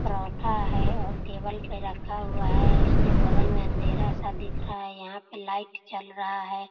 परोठा है और टेबल पे रखा हुआ है इसके बगल में अँधेरा सा दिख रहा है यहाँ पे लाइट जल रहा है।